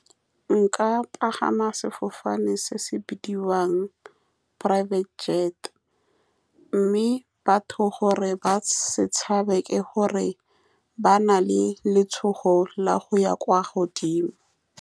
Nka pagama sefofane se se bidiwang private jet, mme batho gore ba setshabe ke gore ba na le letshogo la go ya kwa godimo.